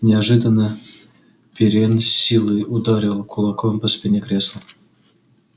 неожиданно пиренн с силой ударил кулаком по спине кресла